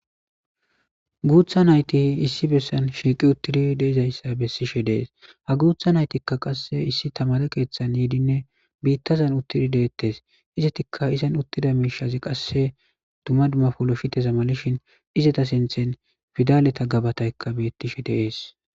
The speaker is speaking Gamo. Guutha nayti issi bessan shiiqi uttidi deizayssa bessishe de7es ha guutha naytikka qasse issi tamare keeththan yiidinne biittazan uttidi de7ettes izetikka izan uttida miishazi qasse dumma dumma poloshite malishin izeta sinthen fidaleta gebataykka bettishe de7es.